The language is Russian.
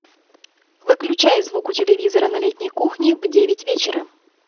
выключай звук у телевизора на летней кухне в девять вечера